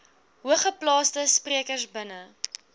hoogeplaasde sprekers binne